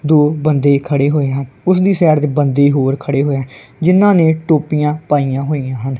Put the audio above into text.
ਦੋ ਬੰਦੇ ਖੜੇ ਹੋਏ ਹਨ ਓਸਦੀ ਸਾਈਡ ਤੇ ਬੰਦੇ ਹੋਰ ਖੜੇ ਹੋਏ ਹੈਂ ਜਿਹਨਾਂ ਨੇ ਟੋਪੀਆਂ ਪਾਈਆਂ ਹੋਈਆਂ ਹਨ।